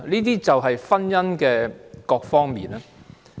這就是婚姻的各方面。